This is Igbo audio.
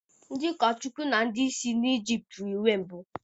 Ndị ụkọchukwu na ndị isi na Ịjịpt yi uwe mbụ